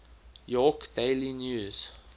york daily news